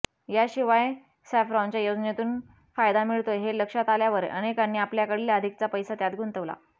याशिवाय सॅफरॉनच्या योजनेतून फायदा मिळतोय हे लक्षात आल्यावर अनेकांनी आपल्याकडील अधिकचा पैसा त्यात गुंतवला